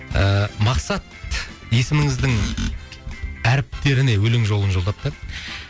ыыы мақсат есіміңіздің әріптеріне өлең жолын жолдапты